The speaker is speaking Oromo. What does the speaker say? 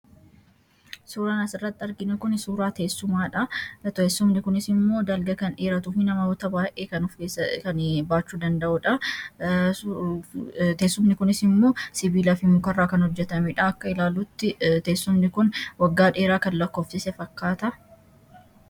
Suuraan as irratti arginu kun suuraa tessumaadha. teessumni kunis immoo dalga kan dheeratuu fi namoota baay'ee kan baachuu danda'uudha. teessumni kunis immoo sibiilaa fi mukarraa kan hojjetamedha, akka ilaallutti teessumni kun waggaa dheeraa kan lakkoofsise fakkaata.